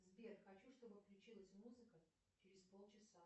сбер хочу чтобы включилась музыка через пол часа